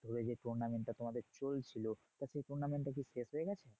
ধরে যে tournament টা তোমাদের চলছিল তা সেই tournament টা কি শেষ হয়ে গেছে?